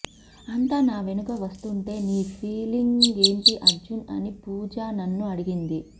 అంతా నా వెనుక వస్తుంటే నీ ఫీలింగ్ ఏంటి అర్జున్ అని పూజా నన్ను అడిగింది